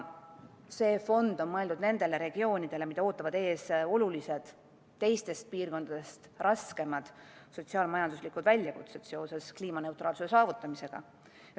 See fond on mõeldud nendele regioonidele, mida ootavad ees olulised, teistest piirkondadest raskemad sotsiaal-majanduslikud väljakutsed seoses kliimaneutraalsuse saavutamisega.